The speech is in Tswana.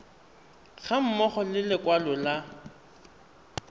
ga mmogo le lekwalo la